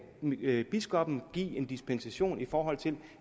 biskoppen give en dispensation i forhold til